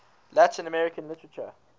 latin american literature